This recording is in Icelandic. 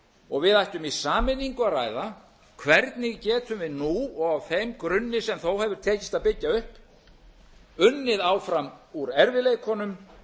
og við ættum í sameiningu að ræða hvernig getum við nú og á þeim grunni sem þó hefur tekist að byggja upp unnið áfram úr erfiðleikunum